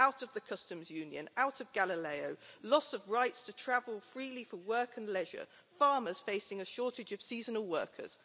Out of the Customs Union, out of Galileo, loss of rights to travel freely for work and leisure, farmers facing a shortage of seasonal workers.